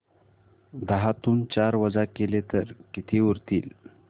दहातून चार वजा केले तर किती उरतील